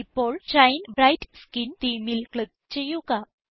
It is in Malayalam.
ഇപ്പോൾ ഷൈൻ ബ്രൈറ്റ് സ്കിൻ themeൽ ക്ലിക്ക് ചെയ്യുക